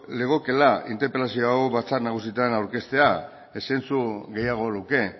legokeela interpelazio hau batzar nagusietan aurkeztea zentzu gehiago luke